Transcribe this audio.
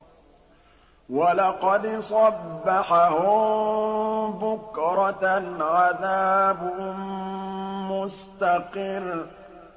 وَلَقَدْ صَبَّحَهُم بُكْرَةً عَذَابٌ مُّسْتَقِرٌّ